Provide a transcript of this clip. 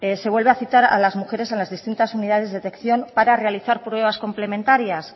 se vuelve a citar a las mujeres en las distintas unidades de detección para realizar pruebas complementarias